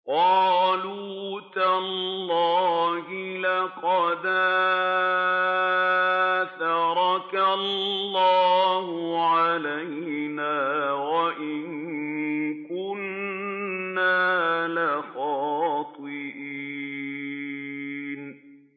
قَالُوا تَاللَّهِ لَقَدْ آثَرَكَ اللَّهُ عَلَيْنَا وَإِن كُنَّا لَخَاطِئِينَ